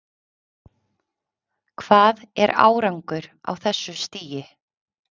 Hvað er árangur á þessu stigi?